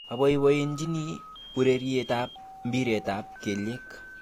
Aboibochini ureriet ab mpiret ab kelyek